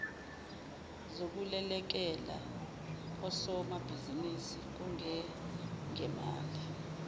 zokulekelela osomabhizinisi kungengemali